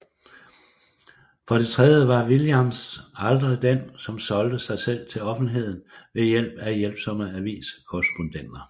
For det tredje var Williams aldrig den som solgte sig selv til offentligheden ved hjælp af hjælpsomme avis korrespondenter